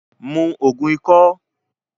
Mu Ògùn ikọ́!